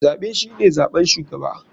Zaɓe shine zaɓen shugaba.